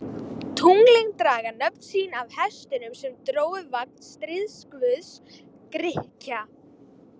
Tunglin draga nöfn sín af hestunum sem drógu vagn stríðsguðs Grikkja.